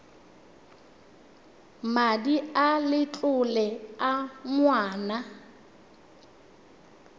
madi a letlole a ngwana